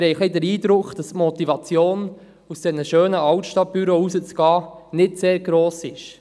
Wir haben den Eindruck, dass die Motivation, die schönen Altstadtbüros zu verlassen, nicht sehr gross ist.